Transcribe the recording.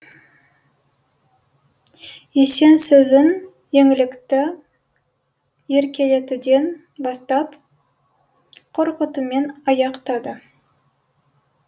есен сөзін еңлікті еркелетуден бастап қорқытумен аяқтады